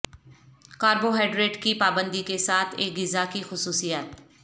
carbohydrate کی پابندی کے ساتھ ایک غذا کی خصوصیات